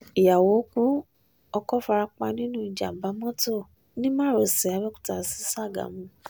ìyàwó ku ọkọ̀ fara pa nínú ìjàm̀bá mọ́tò ní márosẹ̀ àbẹ̀òkúta sí ṣàgámù